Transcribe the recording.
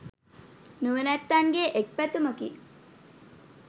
නුවණැත්තන්ගේ එක් පැතුමකි.